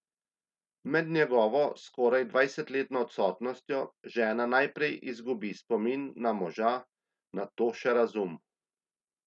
Med njegovo skoraj dvajsetletno odsotnostjo žena najprej izgubi spomin na moža, nato še razum.